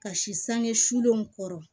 Ka si sange sulenw kɔrɔ